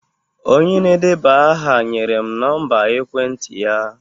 Onye na-edeba aha nyere m nọmba ekwentị ya